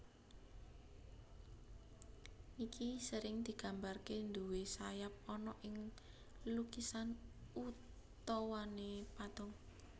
Nike sering digambarke duwé sayap ana ing lukisan utawane patung